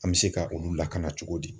An bɛ se ka olu lakana cogo di